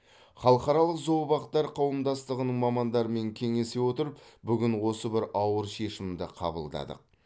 халықаралық зообақтар қауымдастығының мамандарымен кеңесе отырып бүгін осы бір ауыр шешімді қабылдадық